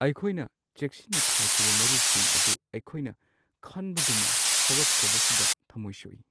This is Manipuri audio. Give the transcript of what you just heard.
ꯑꯩꯈꯣꯏꯅ ꯆꯦꯛꯁꯤꯟꯅ ꯊꯥꯈꯤꯕ ꯃꯔꯨꯁꯤꯡ ꯑꯗꯨ ꯑꯩꯈꯣꯏꯅ ꯈꯟꯕꯒꯨꯝꯅ ꯍꯧꯔꯛꯇ꯭ꯔꯕꯁꯤꯗ ꯊꯃꯣꯏ ꯁꯣꯛꯏ ꯫